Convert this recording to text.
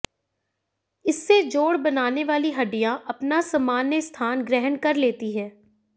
इससे जोड बनाने वाली हडिडयां अपना समान्य स्थान ग्रहण कर लेती है